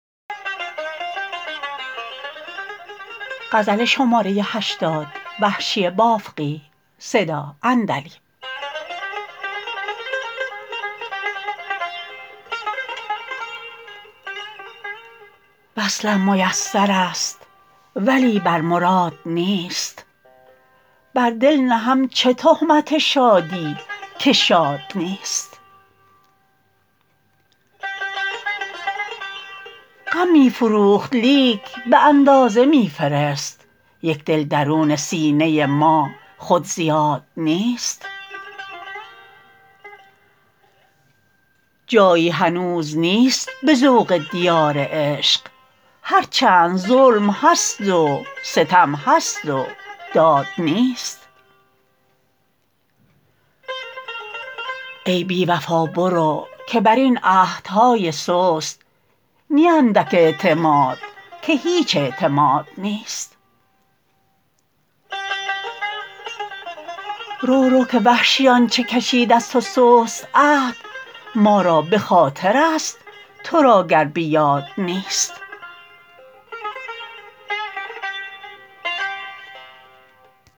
وصلم میسر است ولی بر مراد نیست بر دل نهم چه تهمت شادی که شاد نیست غم می فروخت لیک به اندازه میفرست یک دل درون سینه ما خود زیاد نیست جایی هنوز نیست به ذوق دیار عشق هر چند ظلم هست و ستم هست و داد نیست ای بی وفا برو که بر این عهدهای سست نی اندک اعتماد که هیچ اعتماد نیست رو رو که وحشی آنچه کشید از تو سست عهد ما را به خاطر است ترا گر به یاد نیست